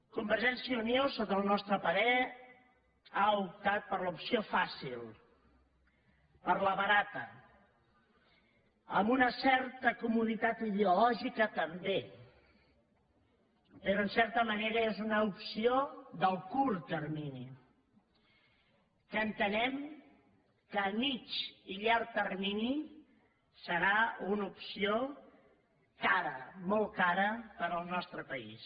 convergència i unió sota el nostre parer ha optat per l’opció fàcil per la barata amb una certa comoditat ideològica també però en certa manera és una opció del curt termini que entenem que a mitjà i llarg termini serà una opció cara molt cara per al nostre país